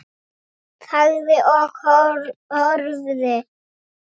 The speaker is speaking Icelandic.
Þagði og horfði.